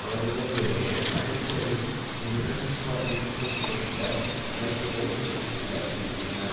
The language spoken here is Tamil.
அவர்களுடைய அடிக்கடி முரண்பாட்டிற்குட்பட்ட கருத்துக்கள் எடுத்து காட்டுகின்றன